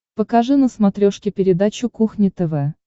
покажи на смотрешке передачу кухня тв